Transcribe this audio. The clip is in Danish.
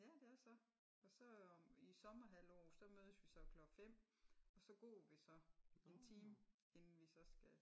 Ja det er så og så i sommerhalvåret der mødes vi så klokken 5 og så går vi 1 time inden vi så skal